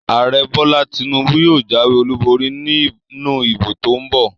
Ààrẹ Bọ́lá Tinúbú yóò jáwé olùborí nínú ìbò tó n bọ̀